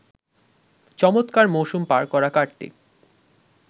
চমৎকার মৌসুম পার করা কার্তিক